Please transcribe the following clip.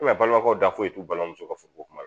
balimaw da foyi t'u balimamuso ka furu kuma